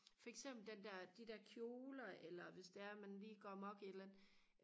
for eksempel den der de der kjoler eller hvis det er at man lige går amok i et eller andet